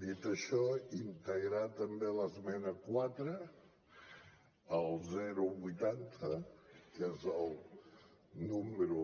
dit això integrar també l’esmena quatre el vuitanta que és el número